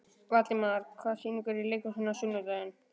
Valdimar, hvaða sýningar eru í leikhúsinu á sunnudaginn?